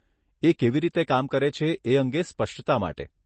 એ કેવી રીતે કામ કરે છે એ અંગે સ્પષ્ટતા માટે.